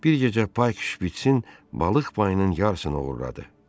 Bir gecə Pay şpiçin balıq payının yarısını oğurladı.